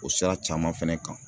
O sira caman fɛnɛ kan